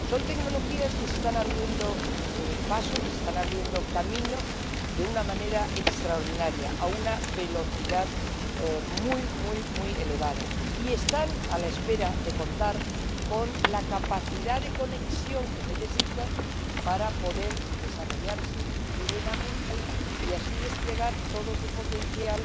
Son tecnologías que se están abriendo paso, que se están abriendo camino de una manera extraordinaria, a una velocidad muy, muy elevada y están a la espera de contar con la capacidad de conexión que necesitan para poder desarrollarse plenamente y así desplegar todo su potencial